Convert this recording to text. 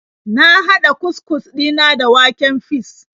Na hada cus-cus dina da waken fis.